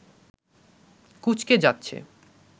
কুঁচকে যাচ্ছে